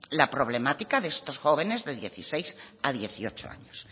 la problemática de estos jóvenes de dieciséis a dieciocho años